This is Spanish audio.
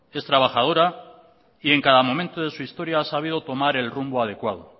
es trabajadora y en cada momento de su historia ha sabido tomar el rumbo adecuado